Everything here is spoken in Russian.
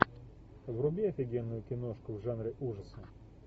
вруби офигенную киношку в жанре ужаса